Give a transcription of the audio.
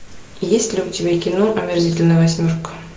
есть ли у тебя кино омерзительная восьмерка